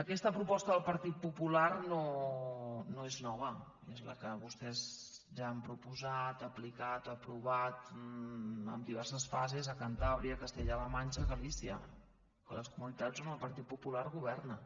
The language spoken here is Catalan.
aquesta proposta del partit popular no és nova és la que vostès ja han proposat aplicat aprovat en diverses fases a cantàbria castella la manxa galícia les comunitats on el partit popular governa